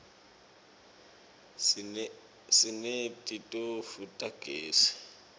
sineti tofu tagezi